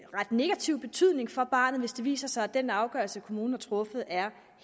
negativ betydning for barnet hvis det viser sig at den afgørelse kommunen har truffet er